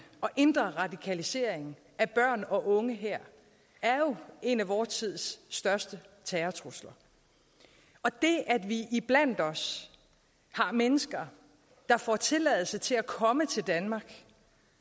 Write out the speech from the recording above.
og indre radikalisering af børn og unge her er jo en af vor tids største terrortrusler og det at vi iblandt os har mennesker der får tilladelse til at komme til danmark